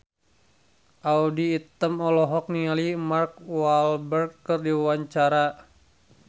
Audy Item olohok ningali Mark Walberg keur diwawancara